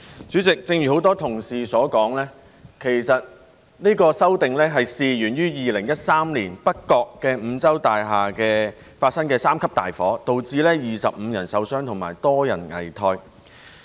主席，正如很多同事所說，其實有關的修訂是源於2013年北角五洲大廈發生三級大火，導致25人受傷及多人危殆。